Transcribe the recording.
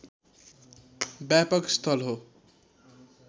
व्यापक स्थल हो